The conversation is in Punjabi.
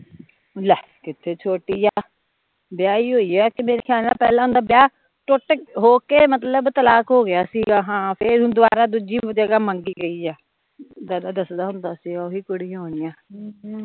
ਲੈ, ਕਿੱਥੇ ਛੋਟੀ ਆ ਵਿਆਹੀ ਹੋਈ ਏ ਤੇ ਮੇਰਾ ਖਿਆਲ ਨਾਲ਼ ਪਹਿਲਾਂ ਓਹਦਾ ਵਿਆਹ ਟੁੱਟ ਹੋ ਕੇ ਮਤਲਬ ਤਲਾਕ ਹੋਗਿਆ ਸੀਗਾ ਹਾਂ ਫਿਰ ਹੁਣ ਦਵਾਰਾਂ ਦੂਜੀ ਜਗਾ ਮੰਗੀ ਗਈ ਆ ਦਾਦਾ ਦੱਸਦਾ ਹੁੰਦਾ ਸੀਗਾ ਓਹੀ ਕੁੜੀਆ ਹੋਣੀਆ ਦੋ ਹਮ